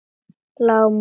Lágmúla